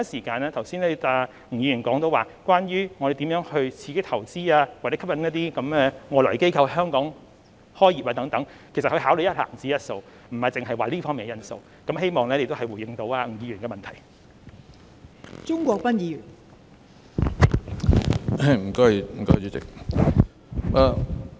剛才吳議員提到我們如何刺激投資或吸引外來機構在香港開業等，其實他們會考慮一籃子的因素，並不單單考慮這方面的因素，希望這亦能回應吳議員的補充質詢。